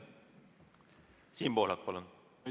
Siim Pohlak, palun!